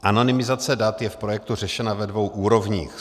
Anonymizace dat je v projektu řešena ve dvou úrovních.